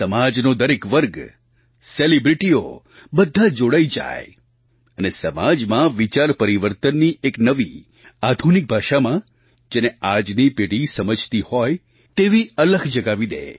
સમાજનો દરેક વર્ગ સેલિબ્રિટીઓ બધાં જોડાઈ જાય અને સમાજમાં વિચારપરિવર્તનની એક નવી આધુનિક ભાષામાં જેને આજની પેઢી સમજતી હોય તેવી અલખ જગાવી દે